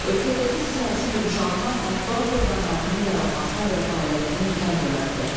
Ölkədəki siyasi yumşalma mətbuat orqanlarının yaranmasına və fəaliyyətinə imkan yaratdı.